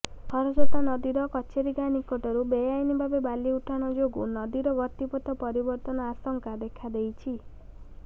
ଖରସ୍ରୋତା ନଦୀର କଚେରୀ ଗାଁ ନିକଟରୁ ବେଆଇନଭାବେ ବାଲି ଉଠାଣ ଯୋଗୁ ନଦୀର ଗତିପଥ ପରିବର୍ତ୍ତନ ଆଶଙ୍କା ଦେଖାଦେଇଛି